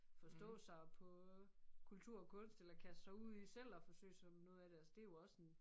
Forstå sig på kultur og kunst eller kaste sig ud i selv at forsøge sig med noget af det altså det jo også en